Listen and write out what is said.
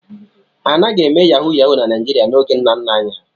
A naghị eme Yahu Yahu na Naịjịrịa n'oge nna nna anyị ha.